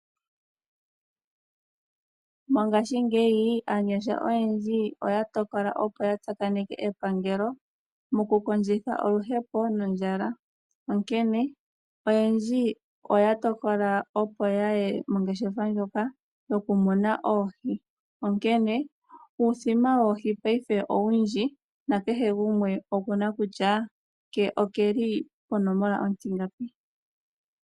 Mongashingeyi aanyasha oyendji oya tokola opo ya tsakaneke epangelo mokukondjitha oluhepo nondjala. Onkene oyendji oya tokola opo ya ye mongeshefa ndjoka yokumuna oohi. Onkene uuthima woohi ngashingeyi owundji nakehe gumwe oku na kutya ke okeli ponomola ontingapi.